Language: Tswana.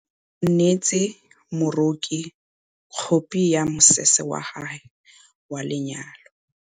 O neetse moroki khopi ya mosese wa gagwe wa lenyalo.